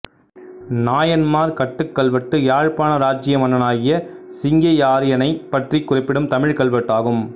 நாயன்மார்கட்டுக் கல்வெட்டு யாழ்ப்பாண இராச்சிய மன்னனாகிய சிங்கையாரியனைப் பற்றிக் குறிப்பிடும் தமிழ்க் கல்வெட்டு ஆகும்